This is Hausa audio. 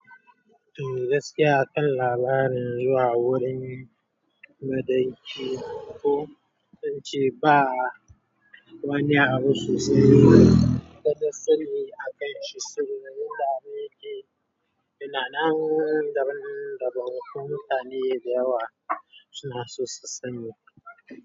Eh gaskiya akan labarin zuwa wurin banɗaki ko sun ce ba wani abu sosai na sani akai shi saboda wanda yake laanan daban daban, kuma mutane da yawa suna so su sani.